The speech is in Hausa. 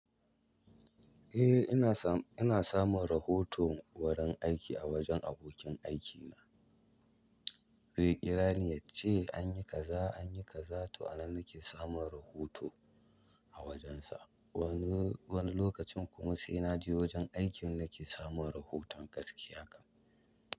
Eh ina sam, ina samun rahoto wurin aiki a wajen abokin aikina. Zei ƙira ni yace anyi kaza, anyi kaza to a nan nake samun rahoto a wajensa. Wani, wani lokacin kuma sai na je wajen aikin nake samun rahoton gaskiya kan.